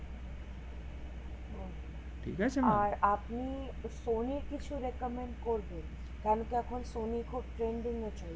আর আপনি সনি কিছু requirement করবেন কারণ এখন সনি খুব trending এ চলছে